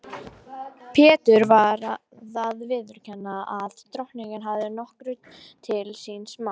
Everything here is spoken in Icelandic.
Pétur varð að viðurkenna að Drottinn hafði nokkuð til síns máls.